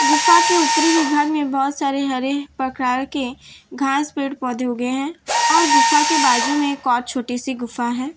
गुफा के ऊपरी विभाग में बहोत सारे हरे प्रकार के घास पेड़ पौधे उगे हैं और गुफा के बाजू में एक और छोटी सी गुफा है।